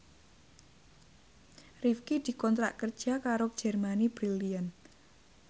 Rifqi dikontrak kerja karo Germany Brilliant